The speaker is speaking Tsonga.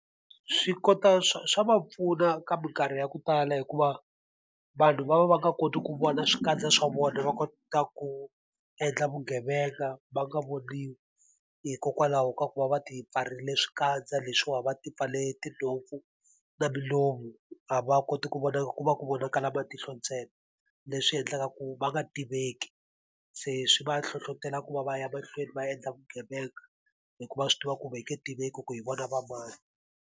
Swi kota swa swa va pfuna ka minkarhi ya ku tala hikuva vanhu va va va nga koti ku vona swikandza swa vona, va kota ku endla vugevenga va nga voniwi, hikokwalaho ka ku va va ti pfarile swikandza leswiwa, va ti pfarile tinhompfu na milomu. A va koti ku vonaka ku va ku vonakala matihlo ntsena, leswi endlaka ku va nga tiveki. Se swi va hlohletela ku va va ya mahlweni va endla vugevenga hikuva va swi tiva ku va nge ka tiveki ku hi vona va mani.